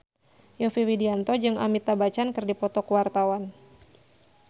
Yovie Widianto jeung Amitabh Bachchan keur dipoto ku wartawan